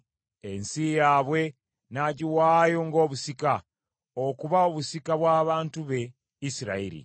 Ensi yaabwe n’agiwaayo ng’obusika, okuba obusika bw’abantu be Isirayiri.